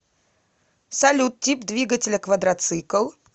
салют тип двигателя квадроцикл